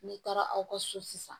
N'i taara aw ka so sisan